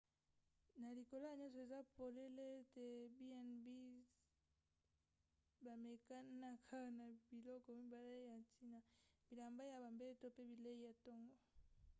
na likolo ya nyonso eza polele ete b&bs bamekanaka na biloko mibale ya ntina: bilamba ya bambeto pe bilei ya ntongo